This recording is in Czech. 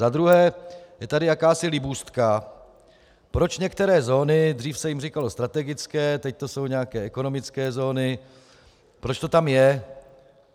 Za druhé je tady jakási libůstka, proč některé zóny - dřív se jim říkalo strategické, teď to jsou nějaké ekonomické zóny - proč to tam je.